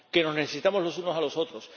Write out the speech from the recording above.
que nos necesitamos los unos a los otros